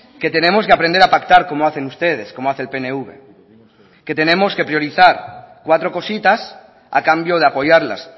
que tenemos que aprender a pactar como hacen ustedes como hace el pnv que tenemos que priorizar cuatro cositas a cambio de apoyarlas